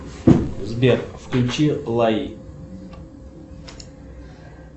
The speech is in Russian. сбер включи лай